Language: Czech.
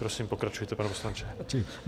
Prosím, pokračujte, pane poslanče.